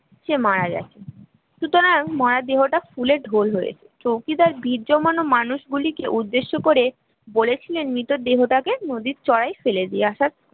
সে মারা গেছে, তো মরা দেহটা ফুলে ঢোল হয়েছে, চৌকিদার মানুষগুলিকে উদ্দেশ্য করে বলেছিলেন মৃতদেহ তাকে নদীর চড়ায় ফেলে দিয়ে আসার